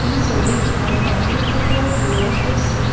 এই ছবিখন ৰাতিৰ পোহৰত লোৱা হৈছে।